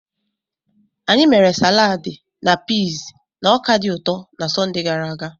Anyị mere saladi na piis na ọka dị ụtọ na Sọnde gara aga.